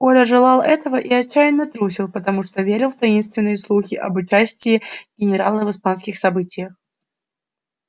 коля желал этого и отчаянно трусил потому что верил в таинственные слухи об участии генерала в испанских событиях